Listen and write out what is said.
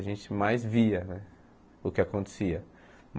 A gente mais via né o que acontecia.